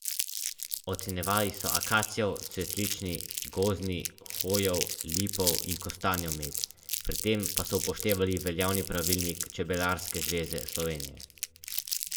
Med udeležence bodo z nagradnim žrebom razdelili še pet koles in deset kolesarskih čelad ter ostale praktične nagrade.